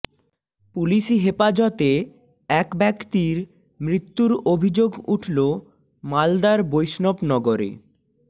পুলিশি হেপাজতে এক ব্যক্তির মৃত্যুর অভিযোগ উঠল মালদার বৈষ্ণবনগরে